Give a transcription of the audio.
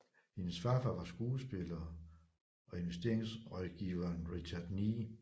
Hendes farfar var skuespiller og investeringrådgiveren Richard Ney